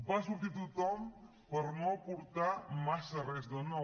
va sortir tothom per no aportar massa res de nou